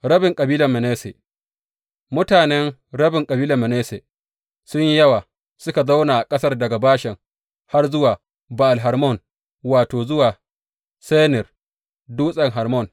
Rabin kabilar Manasse Mutanen rabin kabilar Manasse sun yi yawa; suka zauna a ƙasar daga Bashan har zuwa Ba’al Hermon, wato, zuwa Senir Dutsen Hermon.